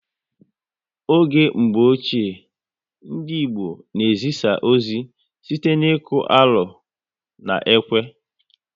Oge mgbọ ochie, ndị Igbo na ezisa ozi site n'iku alo na ekwe